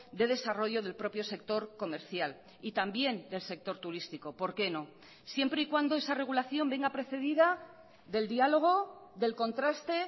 de desarrollo del propio sector comercial y también del sector turístico por qué no siempre y cuando esa regulación venga precedida del diálogo del contraste